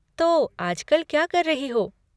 तो आजकल क्या कर रही हो?